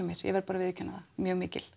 mín ég verð að viðurkenna það mjög mikil